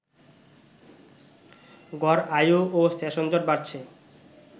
গড় আয়ু ও সেশনজট বাড়ছে